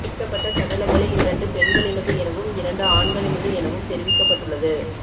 மீட்கப்பட்ட சடலங்களில் இரண்டு பெண்களினது எனவும் இரண்டு ஆண்களினது எனவும் தெரிவிக்கப்பட்டுள்ளது